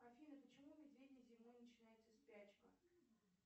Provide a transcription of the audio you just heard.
афина почему у медведей зимой начинается спячка